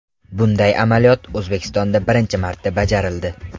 Bunday amaliyot O‘zbekistonda birinchi marta bajarildi.